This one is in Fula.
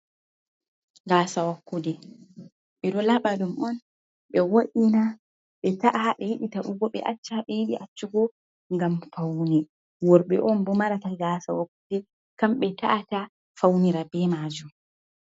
Fasa wakkude be do labadum on be wa'ina be ta'a habe yidi ta dugobe acci habe yidi accugo gam fauni worbe on bo marata gasa wakkude kam be ta’ata faunira be maju.